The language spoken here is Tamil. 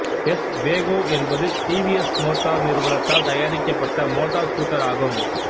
எஸ் வேகோ என்பது டி வி எஸ் மோட்டார் நிறுவனத்தால் தயாரிக்கப்பட்ட மோட்டார் ஸ்கூட்டர் ஆகும்